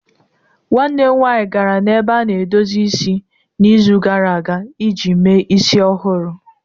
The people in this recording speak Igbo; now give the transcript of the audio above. Nwanne m nwanyị gara n'ebe a na-edozi isi n'izu gara aga iji mee isi ọhụrụ.